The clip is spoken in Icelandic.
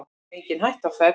Engin hætta á ferð